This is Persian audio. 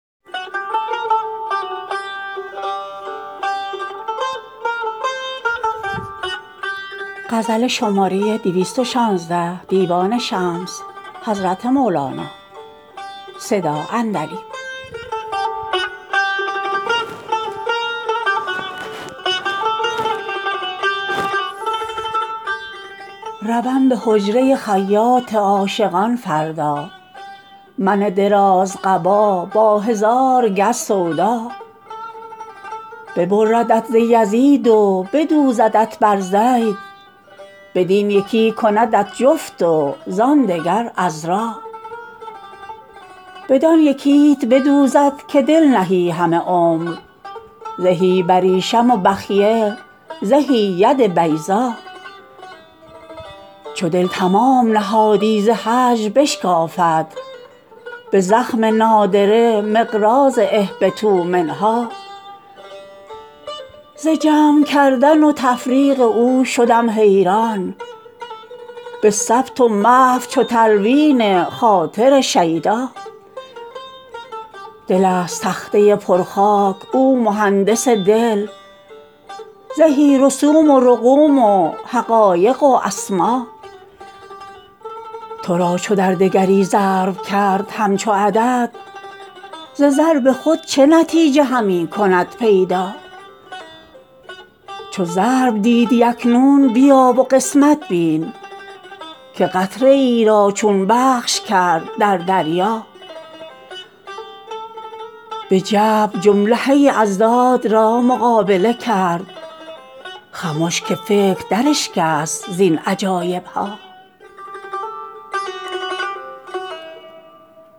روم به حجره خیاط عاشقان فردا من درازقبا با هزار گز سودا ببردت ز یزید و بدوزدت بر زید بدین یکی کندت جفت و زان دگر عذرا بدان یکیت بدوزد که دل نهی همه عمر زهی بریشم و بخیه زهی ید بیضا چو دل تمام نهادی ز هجر بشکافد به زخم نادره مقراض اهبطوا منها ز جمع کردن و تفریق او شدم حیران به ثبت و محو چو تلوین خاطر شیدا دل ست تخته پرخاک او مهندس دل زهی رسوم و رقوم و حقایق و اسما تو را چو در دگری ضرب کرد همچو عدد ز ضرب خود چه نتیجه همی کند پیدا چو ضرب دیدی اکنون بیا و قسمت بین که قطره ای را چون بخش کرد در دریا به جبر جمله اضداد را مقابله کرد خمش که فکر دراشکست زین عجایب ها